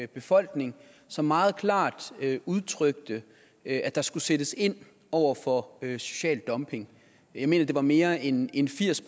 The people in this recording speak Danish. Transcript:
befolkning som meget klart udtrykte at der skulle sættes ind over for social dumping jeg mener det var mere end end firs